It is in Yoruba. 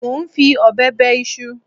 Mo ń fi ọ̀bẹ bẹ iṣu